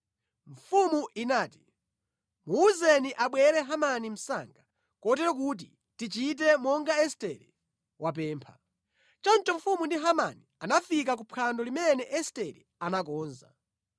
Mfumu inati, “Muwuzeni abwere Hamani msanga, kotero kuti tichite monga Estere wapempha.” Choncho mfumu ndi Hamani anafika kuphwando limene Estere anakonza.